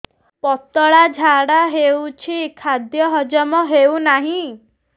ପତଳା ଝାଡା ହେଉଛି ଖାଦ୍ୟ ହଜମ ହେଉନାହିଁ